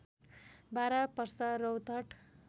Bara Parsa Rautahat